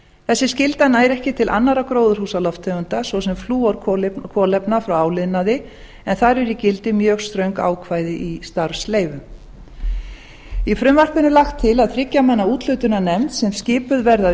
þessi skylda nær ekki til annarra gróðurhúsalofttegunda svo sem flúorkolefna frá áliðnaði en þar eru í gildi mjög ströng ákvæði í starfsleyfum í frumvarpinu er lagt til að þriggja manna úthlutunarnefnd sem skipuð verði af